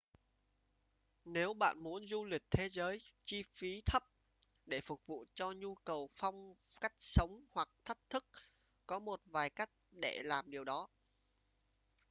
nếu bạn muốn du lịch thế giới chi phí thấp để phục vụ cho nhu cầu phong cách sống hoặc thách thức có một vài cách để làm điều đó